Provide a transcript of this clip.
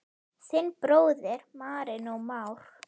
Þinn bróðir, Marinó Már.